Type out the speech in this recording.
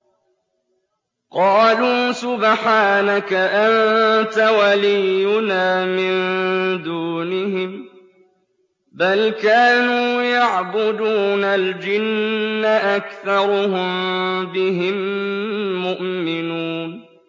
قَالُوا سُبْحَانَكَ أَنتَ وَلِيُّنَا مِن دُونِهِم ۖ بَلْ كَانُوا يَعْبُدُونَ الْجِنَّ ۖ أَكْثَرُهُم بِهِم مُّؤْمِنُونَ